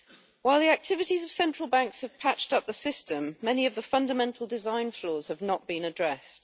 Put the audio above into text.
While the activities of central banks have patched up the system, many of the fundamental design flaws have not been addressed.